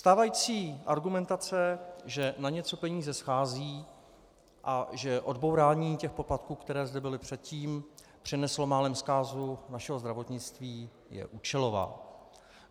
Stávající argumentace, že na něco peníze schází a že odbourání těch poplatků, které zde byly předtím, přineslo málem zkázu našeho zdravotnictví, je účelová.